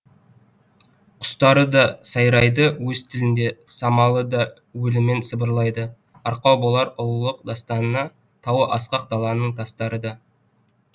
құстары да сайрайды өз тілінде самалы да уілімен сыбырлайды арқау болар ұлылық дастанына тауы асқақ даланың тастары да